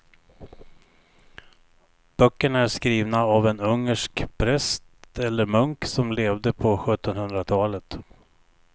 Böckerna är skrivna av en ungersk präst eller munk som levde på sjuttonhundratalet.